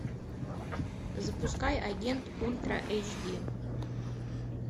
запускай агент ультра эйч ди